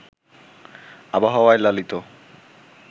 আবহাওয়ায় লালিত